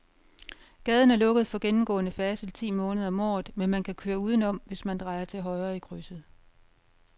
Gaden er lukket for gennemgående færdsel ti måneder om året, men man kan køre udenom, hvis man drejer til højre i krydset.